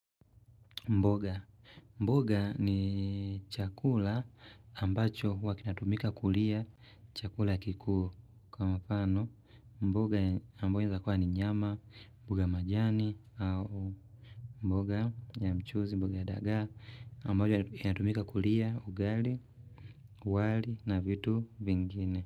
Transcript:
Mboga, mboga ni chakula ambacho huwa kinatumika kulia chakula kikuu kwa mfano mboga ambayo inafaa ni nyama, mboga majani au mboga ya mchuzi, mboga ya dagaa ambayo inatumika kulia ugali, wali na vitu vingine.